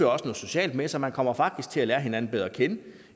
også noget socialt med sig man kommer faktisk til at lære hinanden bedre at kende